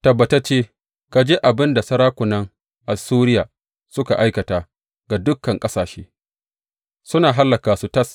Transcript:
Tabbatacce ka ji abin da sarakunan Assuriya suka aikata ga dukan ƙasashe, suna hallaka su tas.